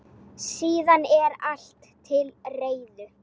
Síðan er allt til reiðu.